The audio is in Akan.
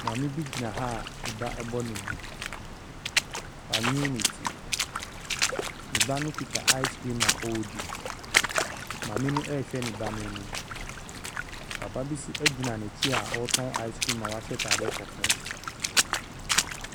Maame bi gyina ha a ne ba bɔ ne bo. Wanwene ne ti. Ne ba no kita ice cream a ɔredi. Maame no rehwɛ ne ba no anim. Papa bi nso gyina n’akyi a ɔretɔn ice cream a wahyɛ ataadeɛ kɔkɔɔ.